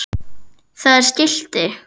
Það er skilti.